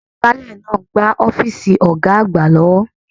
Agbálẹ̀ ń gbá ọ́fíìsì Ọ̀ga àgbà lọ́wọ́